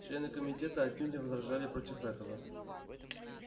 члены комитета отнюдь не возражали против этого